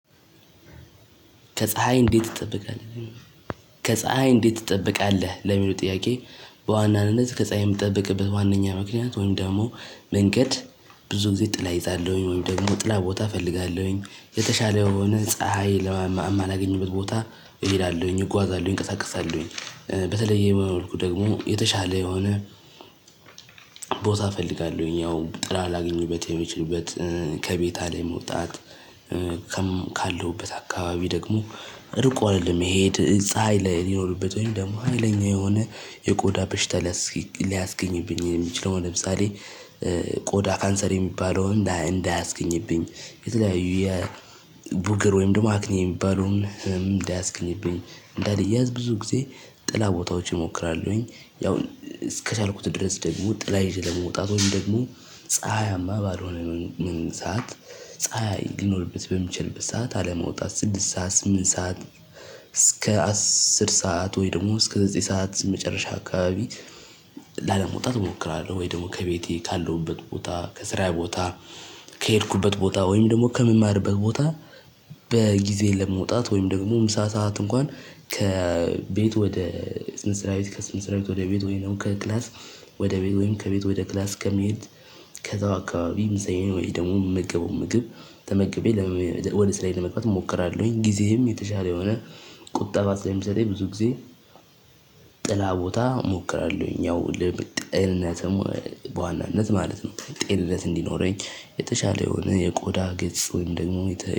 ከፀሀይ እንዴት ትጠብቃለህ ለሚለው ጥያቄ? በዋናነት ከፀሀይ የምጠብቅበት ዋናኛ ምክንያት ወይም ደግሞ መንገድ ብዙ ጊዜ ጥላ እይዛለሁኝ ወይም ደግሞ ጥላ ቦታ እፈልጋለሁኝ የተሻለውን ፀሀይ ለማማ እማላገኝበት ቦታ እሄዳለሁኝ እጓዛለሁኝ እንቀሳቀሳለሁኝ። በተለየ መልኩ ደግሞ የተሻለ የሆነ ቦታ እፈልጋለሁኝ ጥራ ላግኝበት የምችልበት ከቤት አለመውጣት። ካለሁበት አካባቢ ደግሞ እርቆ አለመሄድ ፀሀይ ሚኖርበት ወይም ደሞ ሀይለኛ የሆነ የቆዳ በሽታ ሊያስገኝብኝ የሚችልብኝ ወይም ደግሞ ቆዳ ካንሰር የሚባለውን እንዳያስገኝብኝ። የተለያዩ የቡግር ወይም ደግሞ አክኒ የሚባለውን እንዳያስገኝብኝ እንዳልያዝ ብዙ ጊዜ ጥላ ቦታዎች እሞክራለሁኝ። ያው እስከቻልኩት ድረስ ደግሞ ጥላ ይዤ ለመውጣት ወይም ደግሞ ፀሀያማ ባልሆነ ምን ሰዓት ፀሀይ ሊኖርበት በሚችልበት ሰዓት አለመውጣት ስድስት ሰዓት ስምንት ሰዓት። እስከ አስር ሰዓት ወይ ደግሞ እስከ ዘጠኝ ሰዓት መጨረሻ አካባቢ ላለመውጣት እሞክራለሁ። ወይ ደግሞ ከቤቴ ካለሁበት ቦታ ከስራዬ ቦታ ከሄድኩበት ቦታ ወይም ደግሞ ከምማርበት ቦታ። በጊዜ ለመውጣት ወይም ደግሞ ምሳ ሰዓት እንኳን ከቤት ወደ ስንት ስራዊት ከስንት ስራዊት ወደ ቤት ወይም ደግሞ ከክላስ ወደ ቤት ወይም ከቤት ወደ ክላስ ከመሄድ ከዛ አካባቢም ምሳዬን ወይም ደግሞ የምመገበውን ምግብ ተመገቤ ወደ ስራዬ ለመግባት እሞክራለሁኝ። ጊዜህም የተሻለ የሆነ ቁጠባ ስለሚሰጠኝ ብዙ ጊዜ። ጥላ ቦታ እሞክራለሁኝ ያው ጤንነትም በዋናነት ማለት ነው። ጤንነት እንዲኖረኝ የተሻለ የሆነ የቆዳ ገጽ ወይም ደግሞ የተ